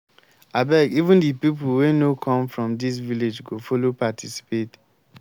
abeg even the people wey no come from dis village go follow participate